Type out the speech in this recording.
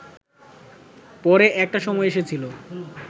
পরে একটা সময় এসেছিল